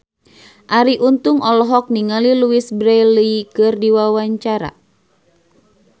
Arie Untung olohok ningali Louise Brealey keur diwawancara